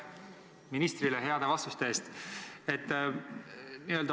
Aitäh ministrile heade vastuste eest!